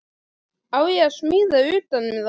Á ég að smíða utan um það?